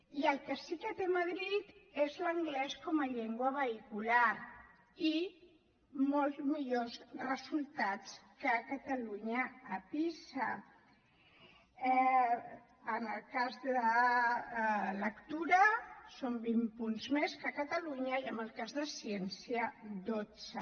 i el que sí que té madrid és l’anglès com a llengua vehicular i molts millors resultats que catalunya a pisa en el cas de la lectura són vint punts més que catalunya i en el cas de ciència dotze